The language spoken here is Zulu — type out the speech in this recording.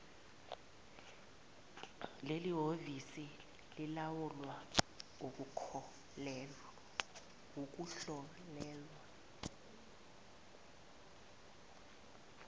lelihhovisi lilawula ukuhlolelwa